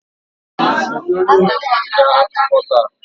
Kedu onye na-ewepụta akụkọ taa?